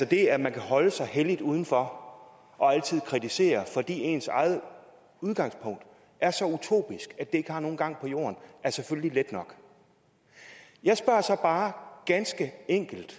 det at man kan holde sig helligt uden for og altid kritisere fordi ens eget udgangspunkt er så utopisk at det ikke har nogen gang på jorden er selvfølgelig let nok jeg spørger så bare ganske enkelt